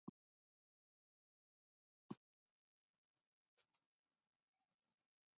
Einar Ólafur Sveinsson, Handritamálið.